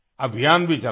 अभियान भी चलाया